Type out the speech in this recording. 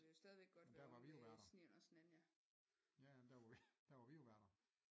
Men der var vi jo værter ja ja men der var vi jo værter